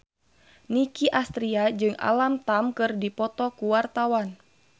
Nicky Astria jeung Alam Tam keur dipoto ku wartawan